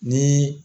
Ni